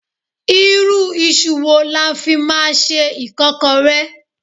Irú iṣu wo la fi máa ṣe Ìkọ́kọrẹ́?